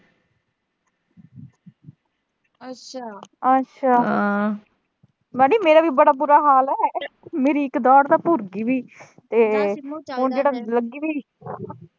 ਲਾਡੀ ਮੇਰਾ ਵੀ ਬੜਾ ਬੁਰਾ ਹਾਲ ਆ। ਮੇਰੀ ਇੱਕ ਜਾੜ੍ਹ ਤਾਂ ਭੁਰਗੀ ਵੀ